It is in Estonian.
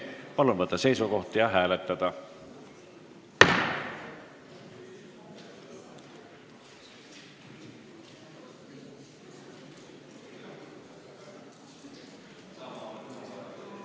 Palun võtta seisukoht ja hääletada!